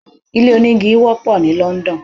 Ilé onígi wọ́pọ̀ ní London.